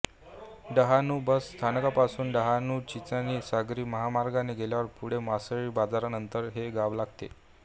Dahanu bus स्थानकापासून डहाणूचिंचणी सागरी महामार्गाने गेल्यावर पुढे मासळी बाजारानंतर हे गाव लागते